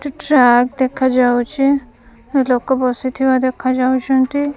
Track ଦେଖା ଯାଉଛି ଲୋକ ବସିଥିବା ଦେଖା ଯାଉଛନ୍ତି।